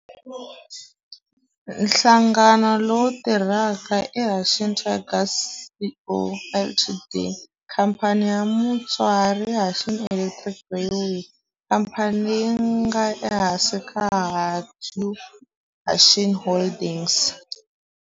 Nhlangano lowu tirhaka i Hanshin Tigers Co., Ltd. Khamphani ya mutswari i Hanshin Electric Railway, khamphani leyi nga ehansi ka Hankyu Hanshin Holdings.